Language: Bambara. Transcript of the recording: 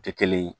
Tɛ kelen ye